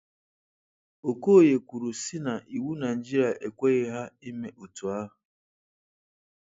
Okoye kwuru si na iwu Naịjirịa ekweghi ha ime otu ahụ.